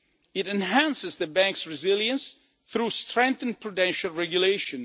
It enhances the banks' resilience through strengthened prudential regulation.